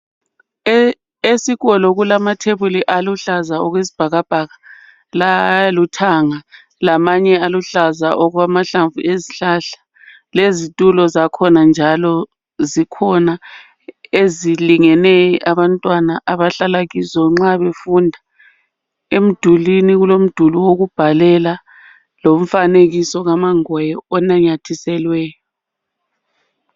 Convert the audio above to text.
Esikolo kulamathebuli aluhlaza okwesibhakabhaka laluthanga lamanye aluhlaza okwamahlamvu ezihlahla lezitulo zakhona njalo zikhona ezilingene abantwana abahlala kizo nxa befunda ,emdulwini kulomduli wokubhalela lomfanekiso ka mangoye onanyathiselweyo.